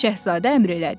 Şahzadə əmr elədi.